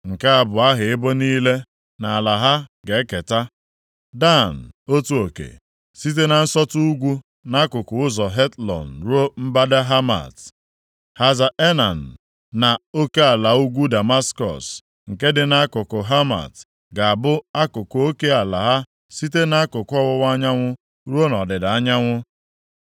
“Nke a bụ aha ebo niile, na ala ha ga-eketa: “Dan otu oke. Site na nsọtụ ugwu, nʼakụkụ ụzọ Hetlon ruo mbata Hamat. Haza Enan na oke ala ugwu Damaskọs, nke dị nʼakụkụ Hamat ga-abụ akụkụ oke ala ha site nʼakụkụ ọwụwa anyanwụ ruo nʼọdịda anyanwụ.